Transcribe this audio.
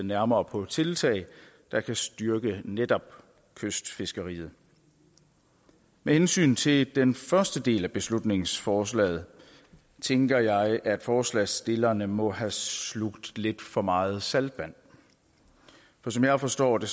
nærmere på tiltag der kan styrke netop kystfiskeriet med hensyn til den første del af beslutningsforslaget tænker jeg at forslagsstillerne må have slugt lidt for meget saltvand for som jeg forstår det